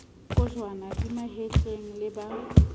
kojwana di mahetleng le ba